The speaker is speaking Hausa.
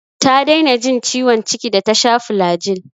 Ta daina jin ciwon ciki da ta sha flagyl.